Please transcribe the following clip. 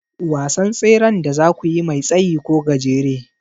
Wasan tseren da zakuyi mai tsayi ko gajere?